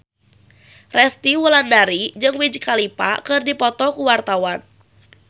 Resty Wulandari jeung Wiz Khalifa keur dipoto ku wartawan